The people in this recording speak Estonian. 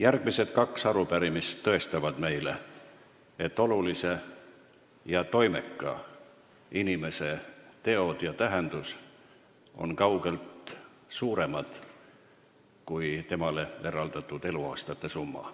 Järgmised kaks arupärimist tõestavad meile, et olulise ja toimeka inimese teod ja tähendus on kaugelt suuremad kui temale eraldatud eluaastate summa.